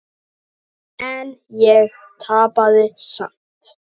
En ég tapaði samt.